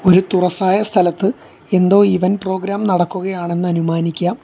ഒരു തുറസ്സായ സ്ഥലത്ത് എന്തോ ഇവൻ്റ് പ്രോഗ്രാം നടക്കുകയാണെന്ന് അനുമാനിക്കാം.